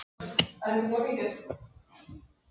Fjallamenn fluttu hinn slasaða í sjúkrabílinn